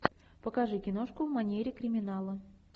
покажи киношку в манере криминала